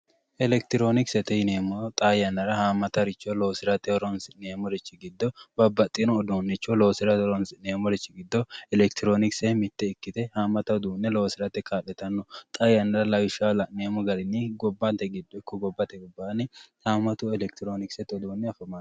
electironkisete yineemmoti xaa yannara haammataricho loosi'neemmorichi giddo babbaxeworicho loosirate horoonsi'neemmori giddo elekitironikise mitte ikkite haammata uduunne loosirate kaa'litanno xaa yannara la'neemmo gari ikko gobate garinni